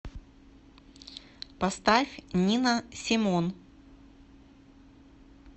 поставь нина симон